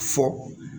Fɔ